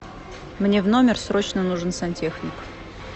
мне в номер срочно нужен сантехник